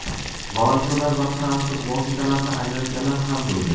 Volontyorlar va transport vositalarini ajratganlar ham bo‘ldi.